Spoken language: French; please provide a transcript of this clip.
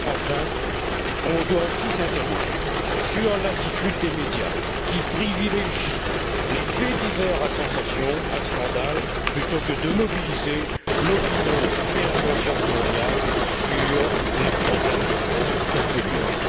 Enfin, nous devons aussi nous interroger sur l'attitude des médias, qui privilégient les faits divers à sensation et à scandale, plutôt que de mobiliser l'opinion et la conscience mondiales sur les problèmes de fond tels que celui là.